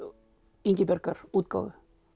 Ingibjargar útgáfu